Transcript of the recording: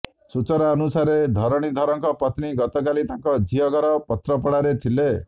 ସୂଚନାଅନୁସାରେ ଧରଣୀଧରଙ୍କ ପତ୍ନୀ ଗତକାଲି ତାଙ୍କ ଝିଅ ଘର ପାତ୍ରପଡ଼ାରେ ଥିଲେ